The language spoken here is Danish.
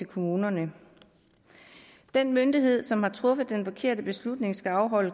kommunerne den myndighed som har truffet den forkerte beslutning skal afholde